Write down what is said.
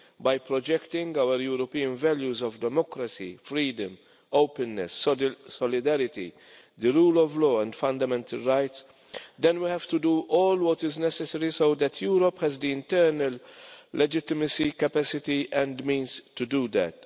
by projecting our European values of democracy, freedom, openness, solidarity, the rule of law and fundamental rights, then we have to do all what is necessary so that Europe has the internal legitimacy, capacity and means to do that.